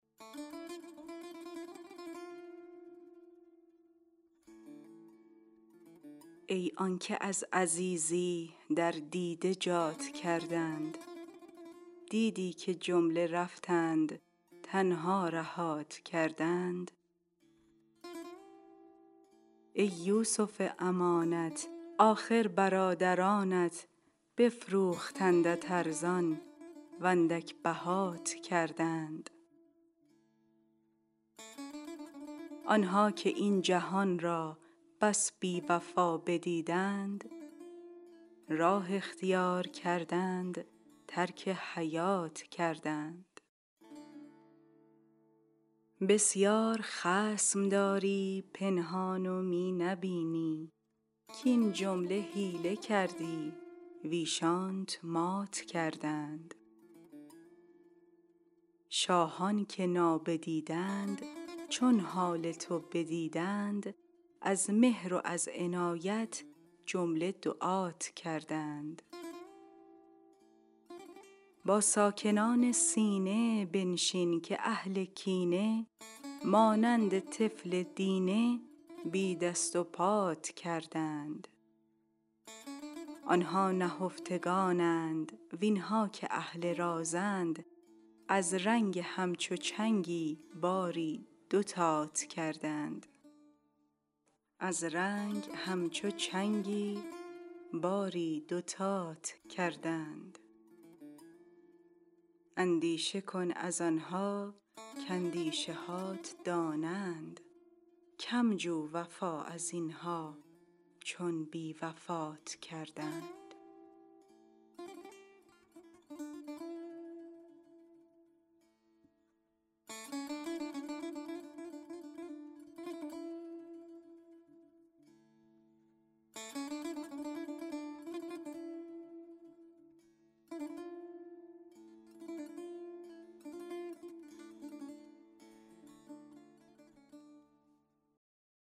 ای آن که از عزیزی در دیده جات کردند دیدی که جمله رفتند تنها رهات کردند ای یوسف امانت آخر برادرانت بفروختندت ارزان و اندک بهات کردند آن ها که این جهان را بس بی وفا بدیدند راه اختیار کردند ترک حیات کردند بسیار خصم داری پنهان و می نبینی کاین جمله حیله کردی ویشانت مات کردند شاهان که نابدیدند چون حال تو بدیدند از مهر و از عنایت جمله دعات کردند با ساکنان سینه بنشین که اهل کینه مانند طفل دینه بی دست و پات کردند آن ها نهفتگانند وین ها که اهل رازند از رنگ همچو چنگی باری دوتات کردند اندیشه کن از آن ها کاندیشه هات دانند کم جو وفا از این ها چون بی وفات کردند